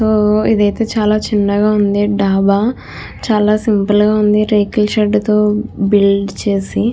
ఓ ఇది అయితే చాలా చిన్నగా ఉంది. డాబా చాలా సింపుల్ గ ఉంది. రేకుల షెడ్ తో బిల్డ్ చేసి.